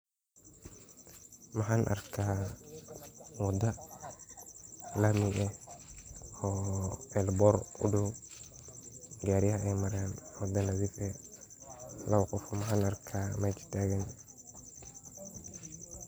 Maxan arka wada lami eh oo elebor udaaw gariyal ay maran wada nadhiif eh labaqof maxan arka mesha tagan.